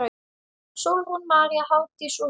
Sólrún María, Hafdís og Dagný.